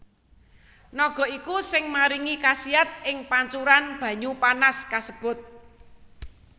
Naga iku sing maringi kasiat ing pancuran banyu panas kasebut